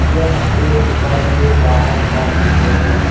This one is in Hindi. यह एक दुकान के बाहर का चित्र है।